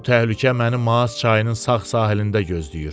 Bu təhlükə məni Maas çayının sağ sahilində gözləyir.